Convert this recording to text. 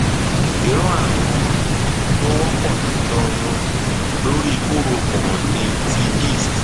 irú ààrun um tó wọpọ jùlọ um lórí kórópọn ni ti yeast